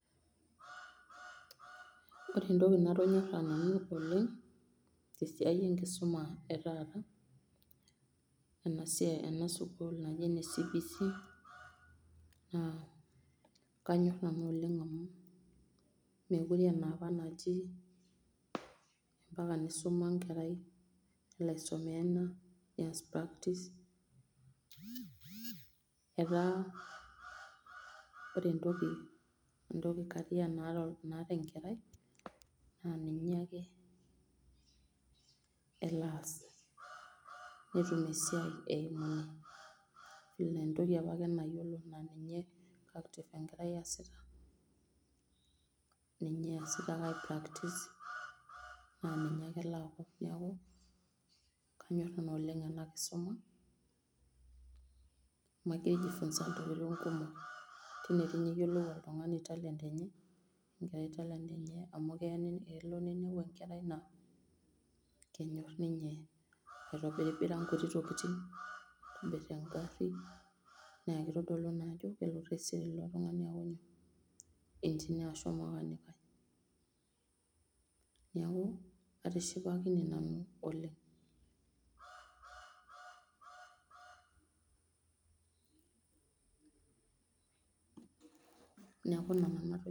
Ore entoki natonyora nanu oleng, tesiai enkisuma etata, na ena sukul naji ene CBC na kanyorr nanu oleng amu mokire aa enapa anji, mpaka nisuma enkerai nias practice. eta ore tabia naata enkerai na ninye elo as, netum esiai eimu ine, ore apake entoki apake nayiolo na ninye enkerai easita engira apractise na ninye ake elo as, niaku kanyor oleng ena kisuma amu amu kijifunza ntokitin kumok, tine doi ninye iyiolou oltungani talent enye amu kelo ninepu enkerai na kenyorr ninye aitobirara nkuti tokitin, nitobir engari na kitodolu ina toki ajo kelotu aku enjinia ashu olmakanikai, niaku atishipakine nanu oleng, niaku ina nanu ajo,